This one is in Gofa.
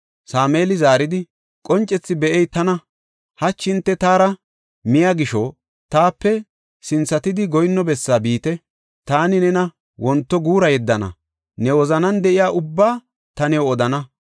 Sameeli zaaridi, “Qoncethi be7ey tana. Hachi hinte taara miya gisho taape sinthatidi goyinno bessaa biite. Taani nena wonto guura yeddana; ne wozanan de7iya ubbaa ta new odana.